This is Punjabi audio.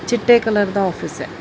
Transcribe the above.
ਚਿੱਟੇ ਕਲਰ ਦਾ ਆਫ਼ਿਸ ਐ।।